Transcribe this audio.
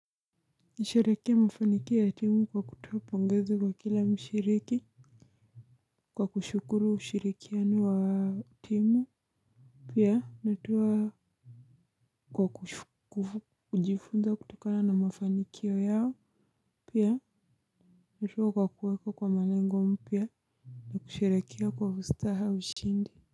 Nasherehekea mafanikio ya timu kwa kutoa pongezi kwa kila mshiriki. Kwa kushukuru ushirikiano wa timu pia natoa kwa kujifunza kutokana na mafanikio yao. Pia natoa kwa kuweka kwa malengo mpya. Nakusherehekea kwa ustaha ushindi.